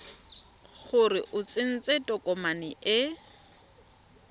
gore o tsentse tokomane e